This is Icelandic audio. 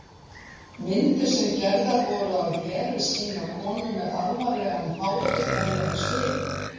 Myndir sem gerðar voru af Heru sýna konu með alvarlegan hátignarlegan svip.